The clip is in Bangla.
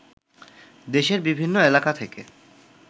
দেশের বিভিন্ন এলাকা থেকে